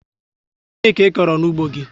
Ọ gịnị ka ịkọrọ n'ugbo gị